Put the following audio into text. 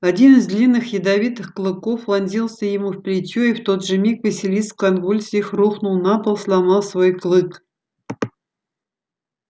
один из длинных ядовитых клыков вонзился ему в плечо и в тот же миг василиск в конвульсиях рухнул на пол сломав свой клык